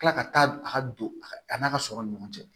Kila ka taa a ka don a ka a n'a ka sɔrɔ ni ɲɔgɔn cɛ